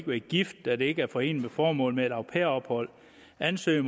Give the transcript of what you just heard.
være gift da det ikke er foreneligt med formålet med et au pair ophold at ansøger